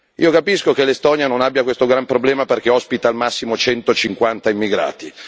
Io capisco che l'Estonia non abbia questo gran problema perché ospita al massimo 150 immigrati.